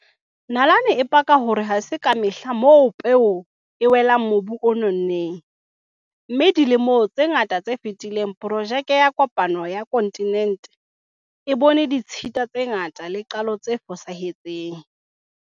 Nalane e paka hore ha se ka mehla moo peo ena e ileng ya wela mobung o nonneng, mme dilemong tse ngata tse fetileng, porojeke ya kopano ya kontinente e bone ditshita tse ngata le qalo tse fosahetseng.